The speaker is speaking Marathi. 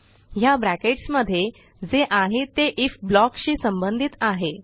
ह्या ब्रॅकेट्स मध्ये जे आहे ते आयएफ ब्लॉक शी संबंधित आहे